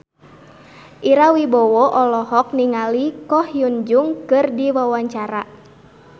Ira Wibowo olohok ningali Ko Hyun Jung keur diwawancara